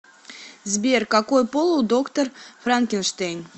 сбер какой пол у доктор франкенштейн